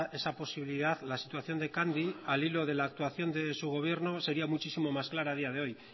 esa posibilidad la situación de candy al hilo de la actuación de su gobierno sería muchísimo más clara a día de hoy